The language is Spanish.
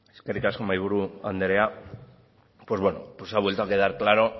eskerrik asko mahaiburu anderea ha vuelto a quedar claro